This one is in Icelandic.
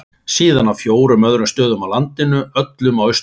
Síðan á fjórum öðrum stöðum á landinu, öllum á Austurlandi.